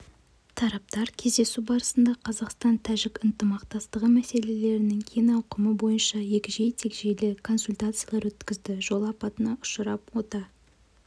тараптар кездесу барысында қазақстан-тәжік ынтымақтастығы мәселелерінің кең ауқымы бойынша егжей-тегжейлі консультациялар өткізді жол апатына ұшырап ота